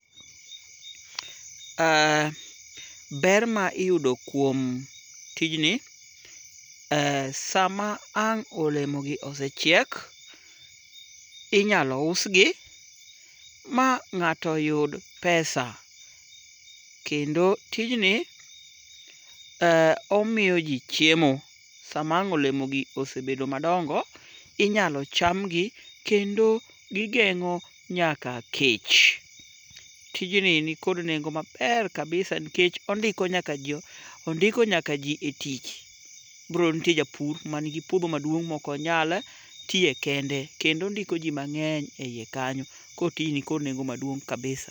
Ber ma iyudo kuom tijni, sama ang' olemogi osechiek, inyalo usgi ma ng'ato yud pesa. Kendo tijni, omiyo ji chiemo. Sama ang' olemogi osebedo madongo, inyalo chamgi kendo gigeng'o nyaka kech. Tijni nikod nengo maber kabisa nikech ondiko nyaka jo, ondiko nyaka ji e tich. Koro nitie japur manigi puodho maduong' mok onyal tiye kende, kendo ondiko ji mang'eny e iye kanyo. Ko tijni nikod nengo maduong' kabisa.